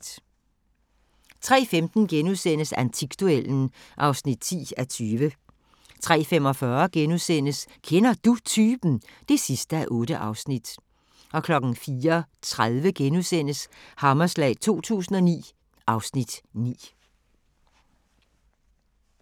03:15: Antikduellen (10:20)* 03:45: Kender Du Typen? (8:8)* 04:30: Hammerslag 2009 (Afs. 9)*